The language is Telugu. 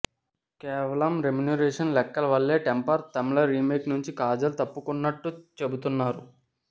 కేవలం రెమ్యూనరేషన్ లెక్కల వల్లే టెంపర్ తమిళ రీమేక్ నుంచి కాజల్ తప్పుకున్నట్టు చెబుతున్నారు